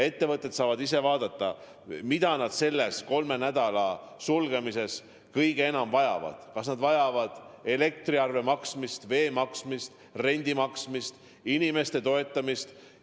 Ettevõtted saavad ise vaadata, mida nad selle kolmenädalase sulgemise korral kõige enam vajavad: kas nad vajavad elektriarve maksmist, veearve maksmist, rendi maksmist, inimeste toetamist.